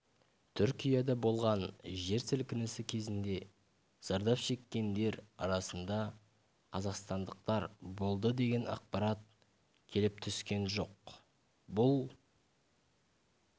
түркияда болған жер сілкінісі кезінде зардап шеккендер арасында қазақстандақтар болды деген ақпарат келіп түскен жоқ бұл